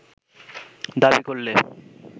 দাবি করলে